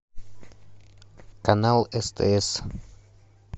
канал стс